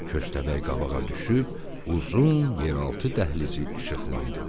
Köstəbək qabağa düşüb uzun yeraltı dəhlizi işıqlandırdı.